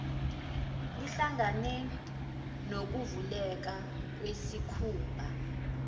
lihlangane nokuvuleka kwesikhumba